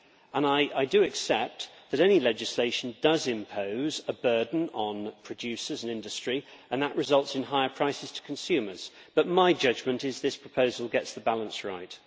And I do accept that any legislation does impose a burden on producers and industry and that results in higher prices to consumers, but my judgment is this proposal gets the balance right.